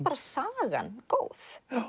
sagan góð